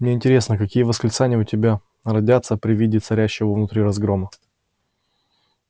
мне интересно какие восклицания у тебя родятся при виде царящего внутри разгрома